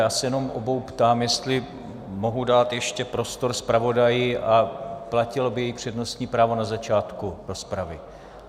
Já se jenom obou ptám, jestli mohu dát ještě prostor zpravodaji a platilo by jejich přednostní právo na začátku rozpravy.